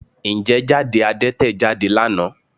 Ǹjẹ́ jáde Adẹ́tẹ̀ jáde lánàá?